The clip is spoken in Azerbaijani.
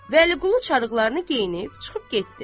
Vəliqulu çarıqlarını geyinib çıxıb getdi.